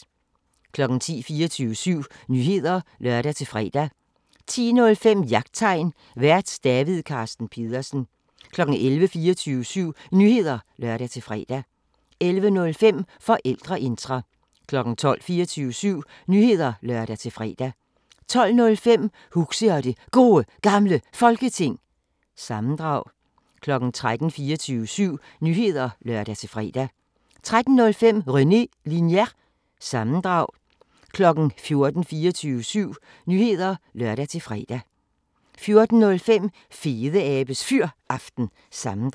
10:00: 24syv Nyheder (lør-fre) 10:05: Jagttegn Vært: David Carsten Pedersen 11:00: 24syv Nyheder (lør-fre) 11:05: Forældreintra 12:00: 24syv Nyheder (lør-fre) 12:05: Huxi og det Gode Gamle Folketing – sammendrag 13:00: 24syv Nyheder (lør-fre) 13:05: René Linjer- sammendrag 14:00: 24syv Nyheder (lør-fre) 14:05: Fedeabes Fyraften – sammendrag